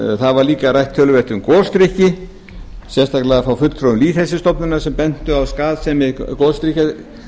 var líka rætt töluvert um gosdrykki sérstaklega frá fulltrúum lýðheilsustofnunar sem bentu á skaðsemi